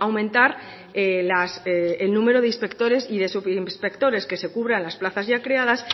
aumentar el número de inspectores y de subinspectores que se cubran las plazas ya creadas